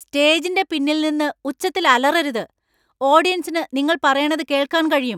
സ്റ്റേജിന്‍റെ പിന്നിൽ നിന്ന് ഉച്ചത്തിൽ അലറരുത്. ഓഡിയൻസിന് നിങ്ങൾ പറയണത് കേൾക്കാൻ കഴിയും .